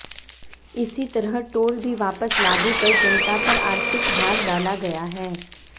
इसी तरह टोल भी वापस लागू कर जनता पर आर्थिक भार डाला गया है